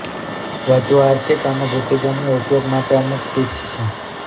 વધુ આર્થિક અને બુદ્ધિગમ્ય ઉપયોગ માટે અમુક ટિપ્સ છે